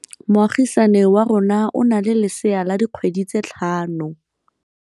Moagisane wa rona o na le lesea la dikgwedi tse tlhano.